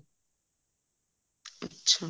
ਅੱਛਾ